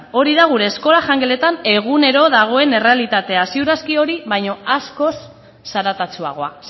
hori da gure eskola jangeletan egunero dagoen errealitatea ziur aski hori baina askoz zaratatsuagoa